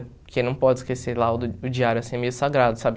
Porque não pode esquecer lá o diário, assim, é meio sagrado, sabe?